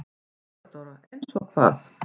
THEODÓRA: Eins og hvað?